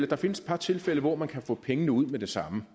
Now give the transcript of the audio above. der findes et par tilfælde hvor man kan få pengene ud med det samme